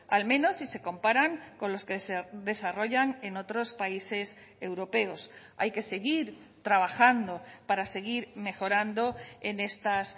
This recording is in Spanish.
al menos si se comparan con los que se desarrollan en otros países europeos hay que seguir trabajando para seguir mejorando en estas